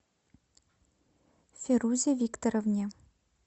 ферузе викторовне